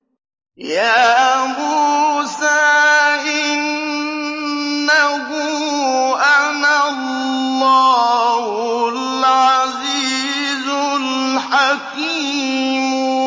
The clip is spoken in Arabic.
يَا مُوسَىٰ إِنَّهُ أَنَا اللَّهُ الْعَزِيزُ الْحَكِيمُ